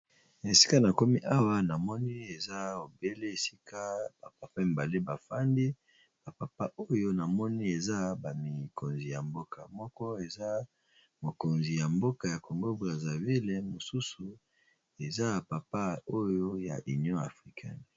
Na esika na komi awa na moni eza obele esika ba papa mibale bafandi . Ba papa oyo na moni baza ba mikonzi ya mboka . Moko eza mokonzi ya mboka ya Congo Brazaville, mosusu eza papa oyo ya Union Africane .